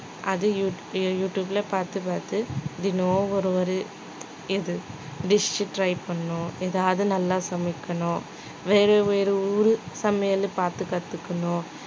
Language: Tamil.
அது யூடி~ யூடியூப்ல பார்த்து பார்த்து தினம் ஒரு ஒரு இது dish try பண்ணணும் ஏதாவது நல்லா சமைக்கணும் வேறு வேற ஊர் சமையல் பார்த்து கத்துக்கணும்